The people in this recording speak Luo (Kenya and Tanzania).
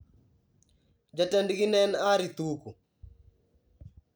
Jatendgi ne en Harry Thuku.